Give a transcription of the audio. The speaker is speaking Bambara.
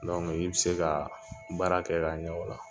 Dɔnku i be se ka baara kɛ kaɲɛ ola